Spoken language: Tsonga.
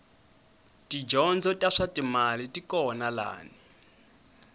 tidyondzo ta swatimali tikona lani